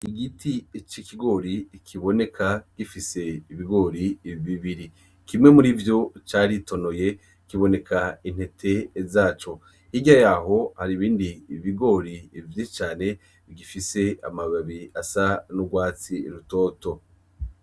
Igiti c'ikigori kiboneka gifise ibigori bibiri kimwe murivyo caritonoye kibone intete zaco hirya yaho hari ibindi bigori vyinshi cane bifise amababi asa n'ugwatsi rutoto.